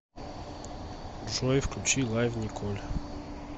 джой включи лайв николь